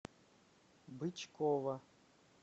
бычкова